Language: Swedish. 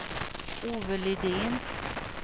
Ove Lidén